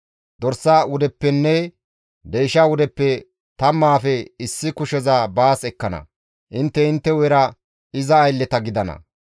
Dorsa wudeppenne deysha wudeppe tammaafe issi kusheza baas ekkana; intte intte hu7era iza aylleta gidana.